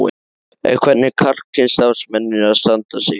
En hvernig eru karlkyns starfsmennirnir að standa sig?